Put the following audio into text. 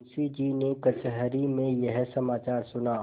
मुंशीजी ने कचहरी में यह समाचार सुना